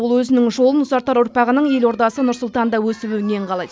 ол өзінің жолын ұзартар ұрпағының ел ордасы нұр сұлтанда өсіп өнгенін қалайды